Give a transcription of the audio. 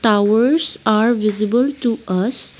towers are visible to us.